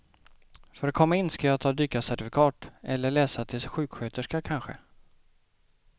För att komma in skall jag ta dykarcertifikat, eller läsa till sjuksköterska kanske.